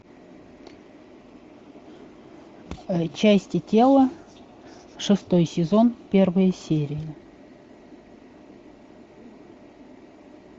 части тела шестой сезон первая серия